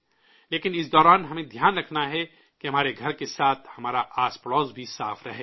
لیکن اس دوران ہمیں دھیان رکھنا ہے کہ ہمارے گھر کے ساتھ ہمارا آس پڑوس بھی صاف رہے